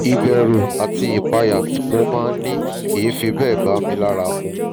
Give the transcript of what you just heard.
ìbẹ̀rù àti ìpayà tí mo máa ń ní kìí fi bẹ́ẹ̀ bá mi lára mu